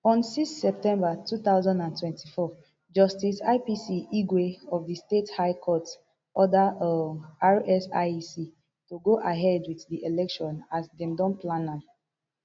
on six septermber two thousand and twenty-four justice ipc igwe of di state high court order um rsiec to go ahead wit di election as dem don plan am